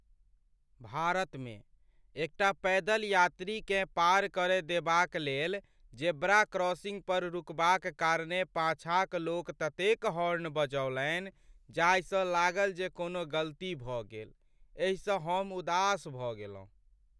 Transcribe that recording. भारतमे, एकटा पैदल यात्रीकेँ पार करय देबाक लेल जेब्रा क्रॉसिंग पर रुकबाक कारणेँ पाँछाक लोक ततेक हॉर्न बजौलनि जाहिसँ लागल जे कोनो गलती भऽ गेल। एहिसँ हम उदास भऽ गेलहुँ।